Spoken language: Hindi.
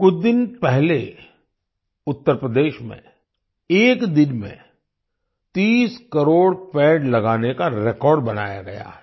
कुछ दिन पहले उत्तर प्रदेश में एक दिन में 30 करोड़ पेड़ लगाने का रेकॉर्ड बनाया गया है